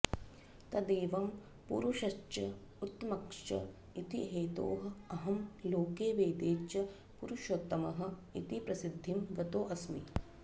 तदेवं पुरुषश्च उत्तमश्च इति हेतोः अहं लोके वेदे च पुरुषोत्तमः इति प्रसिद्धिं गतोऽस्मि